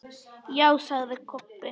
Já, sagði Kobbi.